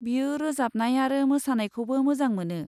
बियो रोजाबनाय आरो मोसानायखौबो मोजां मोनो।